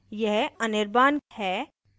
यह anirban है